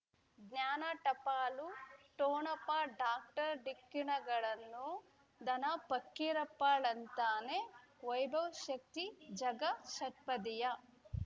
ಜ್ಞಾನ ಟಪಾಲು ಠೊಣಪ ಡಾಕ್ಟರ್ ಢಿಕ್ಕಿ ಣಗಳನು ಧನ ಫಕೀರಪ್ಪ ಳಂತಾನೆ ವೈಭವ್ ಶಕ್ತಿ ಝಗಾ ಷಟ್ಪದಿಯ